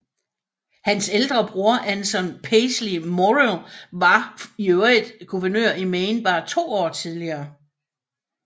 Hans ældre bror Anson Peaslee Morrill var for øvrigt guvernør i Maine bare to år tidligere